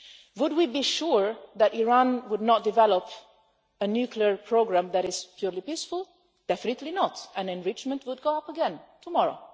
Would we be sure that Iran would not develop a nuclear programme that is purely peaceful? Definitely not, and enrichment would go up again tomorrow.